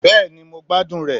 Bẹ́ẹ̀ni, mo gbadun re